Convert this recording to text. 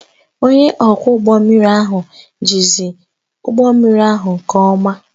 Onye ọkwọ ụgbọ mmiri ahụ jizi ụgbọ mmiri ahụ nke ọma